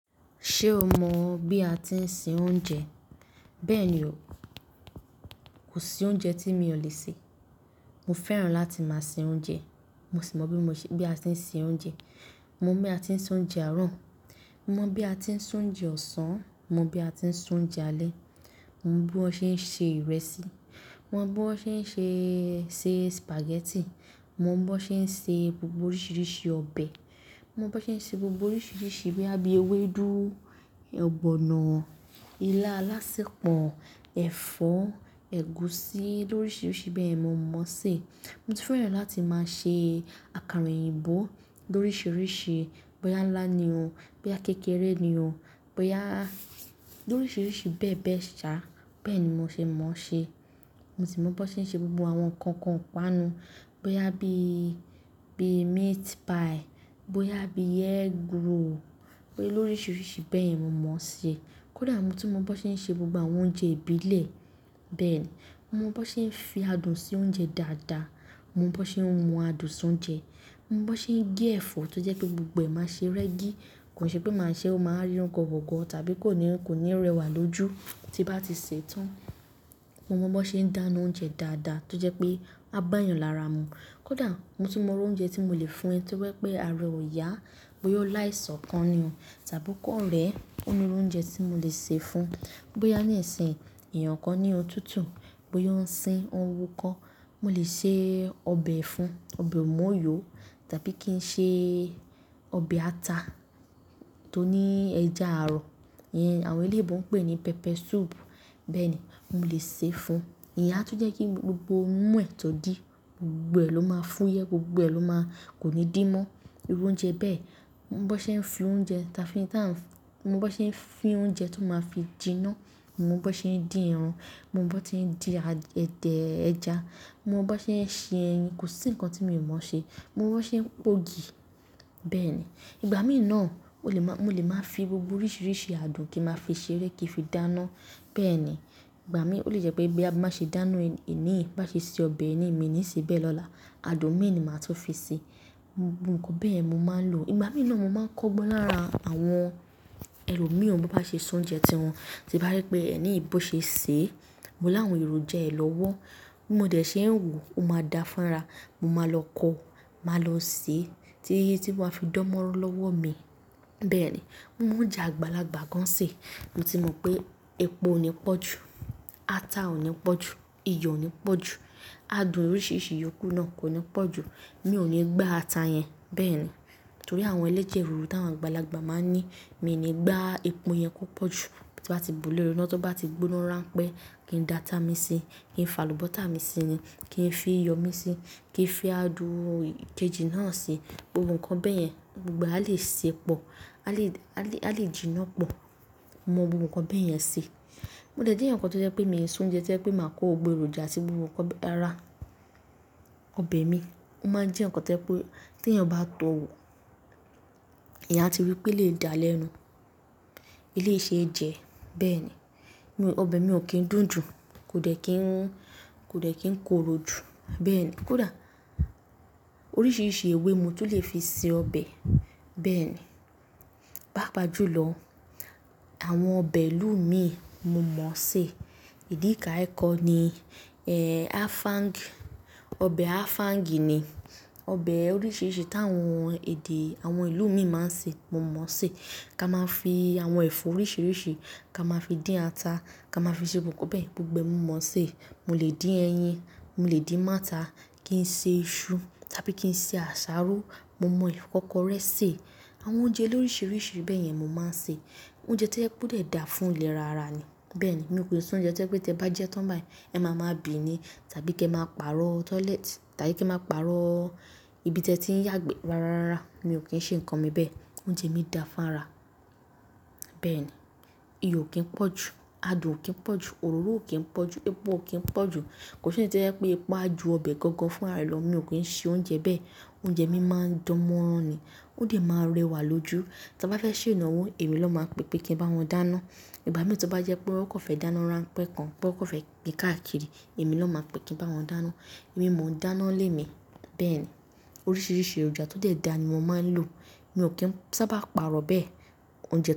Ṣé o mọ bí a ti ń se oúnjẹ? Bẹ́ẹ̀ni o, kò sí oúnjẹ tí mi ò lè sè. Mo fẹ́ràn láti máa se oúnjẹ. Mo sì mọ bí a ti ń se oúnjẹ. Mo mọ bí a ti ń se oúnjẹ àárọ̀. Mo mọ bí a ti ń se oúnjẹ ọ̀sán. Mo mọ bí a ti ń sun oúnjẹ alẹ́. Mo mọ bí wọ́n ṣe ń se ìrẹsì. Mo mọ bí wọ́n ṣe ń se, se spaghetti. Mo mọ bí wọ́n ṣe ń se gbogbo oríṣiríṣi ọbẹ̀. Mo mọ bí wọ́n ṣe ń se gbogbo oríṣiríṣi bóyá bí i ewédú, ọ̀gbọ̀nọ̀, ilá alásèpọ̀, ẹ̀fọ́, ẹ̀gúsí, lóríṣiríṣi bẹ́ẹ̀ yẹn mo mọ̀ ọ́ sè. Mo tún fẹ́ràn láti máa se àkàrà òyìnbó lóríṣiríṣi, bóyá ńlá ni o, bóyá kékeré ni o, bóyá lóríṣiríṣi bẹ́ẹ̀ bẹ́ẹ̀ ṣá. Bẹ́ẹ̀ ni mo ṣe mọ̀ ọ́ ṣe. Mo sì mọ bí wọ́n ṣe ń ṣe gbogbo àwọn nǹkankan ìpaanu. Bóyá bí i, bí i meat pie, bóyá bí i egg roll, pé loríṣiríṣi bẹ́ẹ̀ yẹn mo mọ̀ ọ́ ṣe. Kódà mo tún mọ bí wọ́n ṣe ń ṣe gbogbo àwọn oúnjẹ ìbílẹ̀. Bẹ́ẹ̀ ni, mo mọ bí wọ́n ṣe ń fi adùn sí oúnjẹ dáadáa. Mo mọ bọ́ ṣe ńmú adùn sí oúnjẹ. Mo mọ bí wọ́n ṣe ń gé ẹ̀fọ́ tó jẹ́ pé gbogbo ẹ̀ máa ṣe rẹ́gí. Kò ń ṣe pé màá ṣeé, ó ma wá rí wọ́gọwọ̀gọ tàbí kò ní, kò ní rẹwà lójú tí nbá ti sè é tán. Mo mọ bí wọ́n ṣe ń dáná oúnjẹ dáadáa tó jẹ́ pé á bá yàn lára mu. Kódà mo tún mọ irú oúnjẹ tí mo lè fún ẹ tí ó bá jẹ́ wípé ara ẹ ò yá, bóyá ó láìsàn kan ni o tàbí ó kàn rẹ̀ ẹ́. Ó ní irú oúnjẹ tí mo lè sè fún. Bóyá ní ìsín ìyí èèyàn kan ní òtútù, bóyá ó ń sín ó ń wú kọ́, mo lè ṣe ọbẹ̀ fún. Ọbẹ̀ ùmóòyò tàbí kí n ṣe ọbẹ̀ ata tó ní ẹja ààrọ̀. Ìyẹn àwọn eléèbó ń pè ní pepper soup. Bẹ́ẹ̀ ni, mo lè sè é fún. Ìyẹn atún jẹ́ kí gbogbo imú ẹ̀ tó dí, gbogbo ẹ̀ ló máa fúyẹ́, gbogbo ẹ ló máa kò ní dí mọ́. Irú oúnjẹ bẹ́ẹ̀. Mo mọ bí wọ́n ṣe ń fi oúnjẹ táa fi, táa ń-- mo mọ bí wọ́n ṣe ń fín oúnjẹ tó ma fi jiná. Mo mọ bí wọ́n ṣe ń dín ẹran. Mo mọ bọ́ ti ń dín a, ẹdẹ ẹja. Mo mọ bí wọ́n ṣe ń ṣe ẹyin. Kò sí nǹkan tí mi ò mọ̀ ọ́ ṣe. Mo mọ bí wọ́n ṣe ń po ògì. Bẹ́ẹ̀ ni, ìgbà míì náà, mo lè máa fi gbogbo oríṣiríṣi adùn kí ma fi ṣe ré, kí fi dáná. Bẹ́ẹ̀ ni, ìgbà míì, ó lè jẹ́ pé bóyá bí nbá ṣe dáná èní yìí, bí nbá ṣe se ọbẹ̀ èní yìí mi ò ní sè é bẹ́ẹ̀ lọ́la, adùn míì ni màá tún fi sí. Gbogbo nǹkan bẹ́ẹ̀ yẹn ni mo máa ń lò. Ìgbà míì náà mo máa ń kọ́gbọ́n lára àwọn ẹlòmíì ó bọ́ ńbá ṣe se oúnjẹ ti wọn. Tí bá rí pé ẹni yìí bó ṣe sè é, mo láwọn èròjà a ẹ̀ lọ́wọ́. Bí mo dẹ̀ ṣe ń wò ó, ó ma dá fúnra, mo máa lọ kọ, ma lọ sè é títí títí ó ma fi dán mọ́nrán lọ́wọ́ mi. Bẹ́ẹ̀ ni, mo mọ oúnjẹ àgbàlagbà gan án sè. Mo ti mọ̀ pé epo ò ní pọ̀ jù, ata ò ní pọ̀ jù, iyọ̀ ò ní pọ̀ jù, adùn oríṣiríṣi yòókù náà kò ní pọ̀ jù. Mi ò ní gbá ata yẹn. Bẹ́ẹ̀ ni, torí àwọn ẹlẹ́jẹ̀ ríru tí àwọn àgbàlagbà máa ń ní. Mi ò ní gbá epo yẹn púpọ̀ jù. Tí nbá ti bùú lórí iná, tó bá ti gbóná rán pẹ́ kí n dá ata mi sí, kí n fàlùbọ́tà mi sí ni, kí n fi iyọ̀ mi sí, kí n fi adùn kejì náà sí. Ohun kan bẹ́ẹ̀ yẹn gbogbo ẹ̀ á lè sè pọ̀, á lè, á lè, á lè jiná pọ̀. Mo mọ gbogbo nǹkan bẹ́ẹ̀ yẹn se. Mo dẹ̀ jẹ́'èyàn kan tó jẹ́ pé mi ò ń s'oúnjẹ tó jẹ́ pé màá kó gbogbo èròjà sí gbogbo nǹkan bẹ́, rárá, ọbẹ̀ mi. Ó máa ń jẹ́ nǹkan tó jẹ́ pé tí èèyàn bá tọ wò, èèyàn áti rí pé'léyìí da lẹ́nu. Eléyìí ṣe é jẹ. Bẹ́ẹ̀ ni, mo, ọbẹ̀ mi ò kí ń dùn jù. Kò dẹ̀ kín, kò dẹ̀ kín korò jù. Bẹ́ẹ̀ ni, kódà oríṣiríṣi ewé mo tún lè fi se ọbẹ̀. Bẹ́ẹ̀ ni, pàápàá jùlọ, àwọn ọbẹ̀ ìlú ù míì mo mọ̀ọ́ se. Edikaikong ni, eh, afang, ọbẹ̀ afang ni. Ọbẹ̀ oríṣiríṣi tí àwọn èdè, àwọn ìlú míì máa ń sè mo mọ̀ọ́ sè. Ká máa fi àwọn ẹ̀fọ́ oríṣiríṣi, ká máa fi dín ata, ká máa fi ṣe gbogbo nǹkan bẹ́ẹ̀, gbogbo ẹ̀ mo mọ̀ọ́ se. Mo lè dín ẹyin, mo lè dín mọ́ ata, kí n se iṣu tàbí kí n se àsáró. Mo mọ ìfọ́kọrẹ́ sè. Àwọn oúnjẹ lóríṣiríṣi bẹ́ẹ̀ yẹn ni mo máa ń sè. Oúnjẹ tí ó jẹ́ pé ó dẹ̀ dáa fún ìlera ara ni. Bẹ́ẹ̀ ni, mi ò kàn kí ń se oúnjẹ tí ó jẹ́ pé tí ẹ bá jẹẹ́ tán báyìí ẹ ma ma bì ni tàbí kí ẹ máa pàrọ̀ toilet, tàbí kí ẹ máa pàrọ̀ ibi tí ẹ ti ń yàgbẹ́. Rárá rárá, mi ò kín se nǹkan mi bẹ́ẹ̀. Oúnjẹ mi dáa fún ara. Bẹ́ẹ̀ ni, iyọ̀ ò kí ń pọ̀ jù, adùn ò kí ń pọ̀ jù, òróró ò kí ń pọ̀ jù, epo ò kí ń pọ̀ jù. Kò ń ṣè yí tí ó jẹ́ wípé epo á ju ọbẹ̀ gangan fún ra ẹ̀ lọ. Mi ò kí ń ṣe oúnjẹ bẹ́ẹ̀. Oúnjẹ mi máa ń dán mọ́rán ni. Ó dẹ̀ máa rẹwà lójú. Tí a bá fẹ́ ṣe ìnáwó, èmi lọ́ ma pè pé kí n bá wọn dáná. Ìgbà míì tí ó bá jẹ́ pé wọ́n kàn fẹ́ dáná rá ń pẹ́ kan, pé wọ́n kàn fẹ́ pín káàkiri, èmi ló ma pè kí n bá wọn dáná. Èmi mò ń dáná ń lé mi. Bẹ́ẹ̀ ni, oríṣiríṣi èròjà tó dẹ̀ dáa ni mo máa ń lò. Mi ò kí ń sábà pàrọ̀ bẹ́ẹ̀. Oúnjẹ.